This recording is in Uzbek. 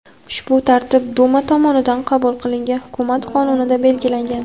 Ushbu tartib Duma tomonidan qabul qilingan hukumat qonunida belgilangan.